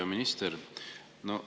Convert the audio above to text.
Hea minister!